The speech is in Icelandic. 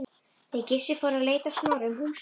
Þeir Gissur fóru að leita Snorra um húsin.